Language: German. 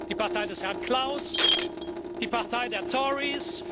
die Partei des Herrn Klaus, die Partei der Tories.